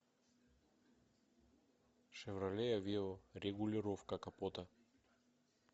шевроле авео регулировка капота